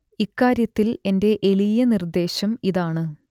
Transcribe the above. ഇക്കാര്യത്തിൽ എന്റെ എളിയ നിർദ്ദേശം ഇതാണ്